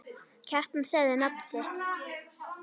Kjartan sagði nafn sitt.